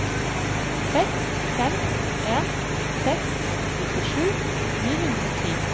seks fem en seks nittisju ni hundre og ti